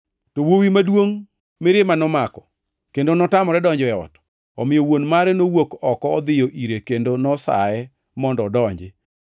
“To wuowi maduongʼ mirima nomako, kendo notamore donjo e ot. Omiyo wuon mare nowuok oko odhiyo ire kendo nosaye mondo odonji.